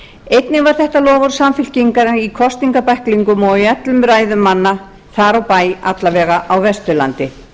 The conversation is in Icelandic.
einnig var þetta loforð samfylkingarinnar í kosningabæklingum og í öllum ræðum manna þar á bæ alla vega á vesturlandi